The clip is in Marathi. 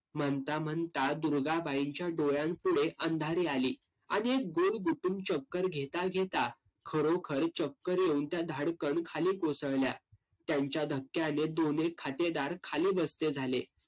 म्हणता म्हणता दुर्गाबाईंच्या डोळ्यांपुढे अंधारी आली. आणि एक चक्कर घेता घेता खरोखर चक्कर येऊन त्या धाडकन खाली कोसळल्या. त्यांच्या धक्क्याने दोन्ही खातेदार खाली बसते झाले.